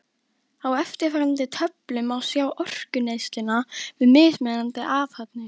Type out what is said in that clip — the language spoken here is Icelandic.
Á eftirfarandi töflu má sjá orkuneysluna við mismunandi athafnir.